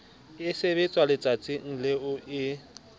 e sebetswa letsatsing leo e